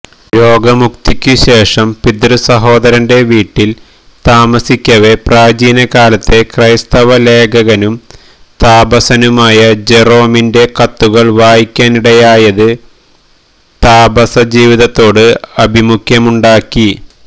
രോഗമുക്തിക്കുശേഷം പിതൃസഹോദരന്റെ വീട്ടിൽ താമസിക്കവേ പ്രാചീനകാലത്തെ ക്രൈസ്തവ ലേഖകനും താപസനുമായിരുന്ന ജെറൊമിന്റെ കത്തുകൾ വായിക്കാനിടയായത് താപസജീവിതത്തോട് ആഭിമുഖ്യമുണ്ടാക്കി